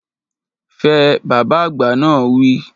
Fẹ! Bàbá àgbà náà wi